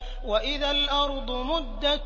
وَإِذَا الْأَرْضُ مُدَّتْ